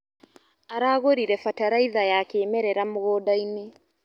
Aragũrire bataraitha ya kĩmerera mũgũndainĩ.